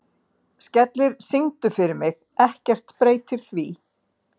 Skellir, syngdu fyrir mig „Ekkert breytir því“.